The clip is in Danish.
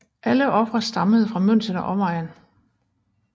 Alle ofre stammede fra München og omegn